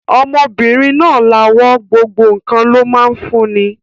Ọmọbìnrin náà lawọ́, gbogbo ǹkan ló máa ń fún ni.